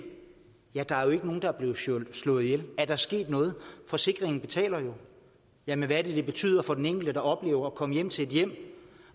ja der er jo ikke nogen der er blevet slået ihjel er der sket noget forsikringen betaler jo jamen hvad betyder det for den enkelte der oplever at komme hjem til et hjem